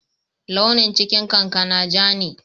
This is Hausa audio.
Launin cikin kankana ja ne.